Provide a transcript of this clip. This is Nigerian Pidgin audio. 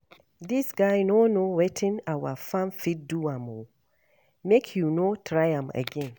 Dis guy no know wetin our firm fit do him oo. Make he no try am again